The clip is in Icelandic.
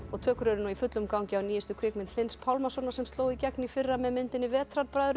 tökur eru nú í fullum gangi á nýjustu kvikmynd Hlyns Pálmasonar sem sló í gegn í fyrra með myndinni